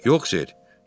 Yox, ser.